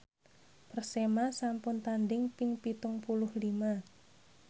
Persema sampun tandhing ping pitung puluh lima